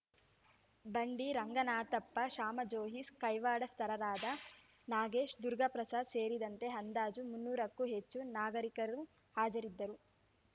ಬಂಡಿ ರಂಗನಾಥಪ್ಪ ಶಾಮಾಜೋಯಿಸ್ ಕೈವಾಡಸ್ತರಾದ ನಾಗೇಶ್ ದುರ್ಗಾಪ್ರಸಾದ್ ಸೇರಿದಂತೆ ಅಂದಾಜು ಮುನ್ನೂರಕ್ಕೂ ಹೆಚ್ಚು ನಾಗರೀಕರು ಹಾಜರಿದ್ದರು